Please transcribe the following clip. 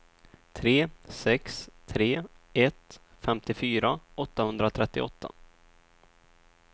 tre sex tre ett femtiofyra åttahundratrettioåtta